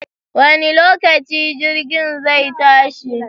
Wani lokaci jirgin zai tashi?